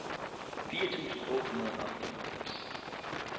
fire tusind otte hundrede og femoghalvfems